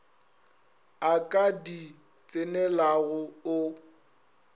o ka di tsenelago o